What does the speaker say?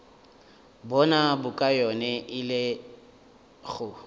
bona bokaone e le go